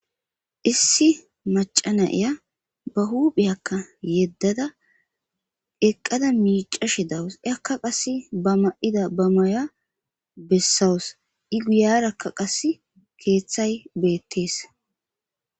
issi macana ya ba huphiyakka yeddada eqqada miica shi dawus akka qas bama7ida ba maya bessawus i guyarakka qas keeththay beettees